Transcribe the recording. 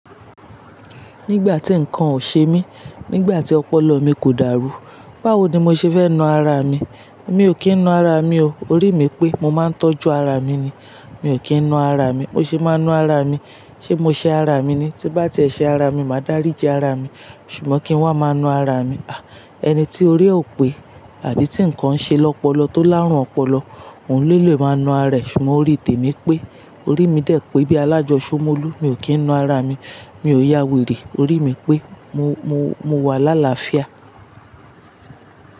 Nígbà tí nǹkan ò ṣe mí, nígbà tí ọpọlọ mi kò dàrú, báwo ni mo ṣe fẹ́ na ara mi? Mi ò kí ń na ara mi o. Orí mi pé mo máa ń tọ́jú ara mi ni, mi ò kí ń na ara mi. Mo ṣe máa na ara mi. Ṣé mo ṣe ara mi ni? Tí n bá ti è ṣe ara mi, màá dáríji ara mi. Ṣùgbọ́n kí n wá máa na ara mi. À, ẹni tí orí ò pé àbí tí nǹkan ń ṣe lọ́pọlọ tó láárùn ọpọlọ, òun lólè máa na ara rẹ̀. Ṣùgbọ́n orí tèmi pé, orí mi dẹ̀ pé bí alájọṣọmọ́lù, mi ò kí ń na ara mi. Mi ò yá wèrè. Orí mi pé mo, mo, mo wà lálafiá.